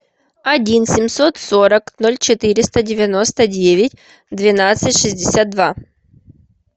один семьсот сорок ноль четыреста девяносто девять двенадцать шестьдесят два